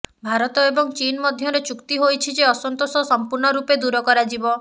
ଭାରତ ଏବଂ ଚୀନ୍ ମଧ୍ୟରେ ଚୁକ୍ତି ହୋଇଛି ଯେ ଅସନ୍ତୋଷ ସମ୍ପୂର୍ଣ୍ଣରୂପେ ଦୂର କରାଯିବ